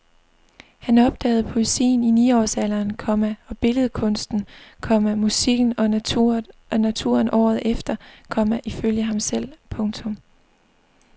Han opdagede poesien i ni års alderen, komma og billedkunsten, komma musikken og naturen året efter, komma ifølge ham selv. punktum